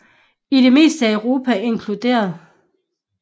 I det meste af Europa inkl